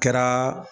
Kɛra